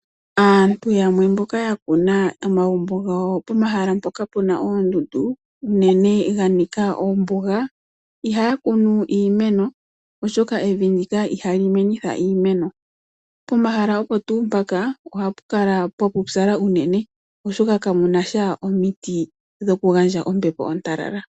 Aantu yamwe mboka ya kuna pomagumbo gawo, pomahala mpoka pu na oondundu, unene ga nika ombuga ihaya kunu iimeno, oshoka evi ndika ihali menitha iimeno. Pomahala opo tuu mpaka ohapu kala pwa pupyala unene, oshoka kapu na sha omiti dhoku gandja ombepo ontalala.